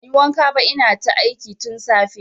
Banyi wanka ba ina ta aiki tun safe